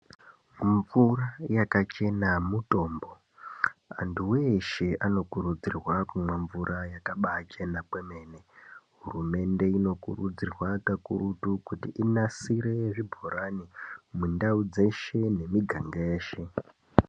Mumvura yakachena nemitombo vantu veshe vanokurudzirwa kumwa mvura yakachema kweene hurumende anokurudzirwa kakurutu inasire zvibhorani mundau dzeshe.